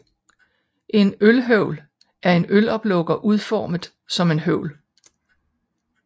En Ølhøvl er en øloplukker udformet som en høvl